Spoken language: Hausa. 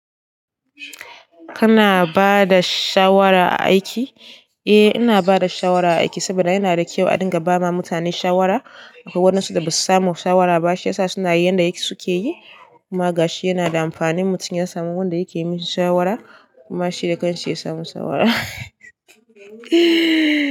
Kana bada shawara a aiki? Eh ina bada shawara a aiki saboda yana da kyau a dinga bawa mutane shawara. Akwai wadansu da basu samu shawara ba shi yasa suna yin yanda suke yi. Kuma ga shi yana da amfani mutum ya samu wanda yake yi mai shawara kuma shi dakan shi ya samu shawara.